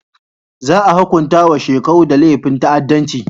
Za a hunkunta wa Shekau da laifin ta'addanci.